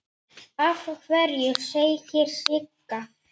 Af hverju, segir Sigga.